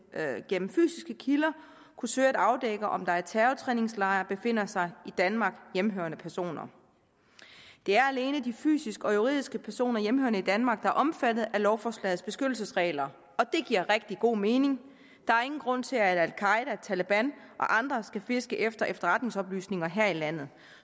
gennem fysiske kilder kunne søge at afdække om der i terrortræningslejre befinder sig i danmark hjemmehørende personer det er alene de fysiske og juridiske personer hjemmehørende i danmark der er omfattet af lovforslagets beskyttelsesregler og det giver rigtig god mening der er ingen grund til at al qaeda taleban og andre skal fiske efter efterretningsoplysninger her i landet